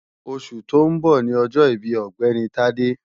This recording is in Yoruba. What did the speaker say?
Oṣù tó ń bọ̀ ni ọjọ́ ìbí Ọ̀gbẹ́ni Tádé